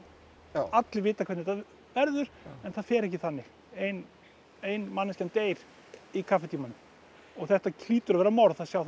allir vita hvernig þetta verður en það fer ekki þannig ein ein manneskjan deyr í kaffitímanum og þetta hlýtur að vera morð það sjá það